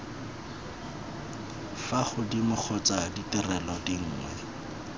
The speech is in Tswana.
fa godimo kgotsa ditirelo dinngwe